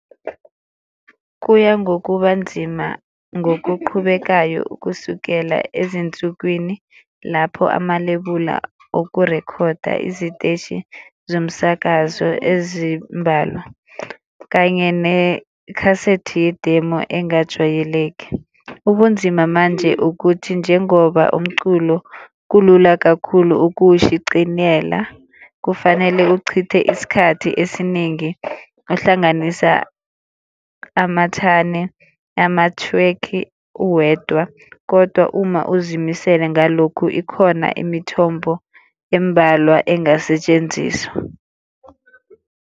Kuya ngokuba nzima ngokuqhubekayo ukusukela ezinsukwini lapho amalebula okurekhoda iziteshi zomsakazo ezimbalwa, kanye nekhasethi ye-demo engajwayeleki. Ubunzima manje ukuthi njengoba umculo kulula kakhulu ukuwushiciniyela, kufanele uchithe isikhathi esiningi uhlanganisa amathane, amathwekhi uwedwa. Kodwa uma uzimisele ngalokhu ikhona imithombo embalwa engasetshenziswa.